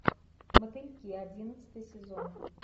мотыльки одиннадцатый сезон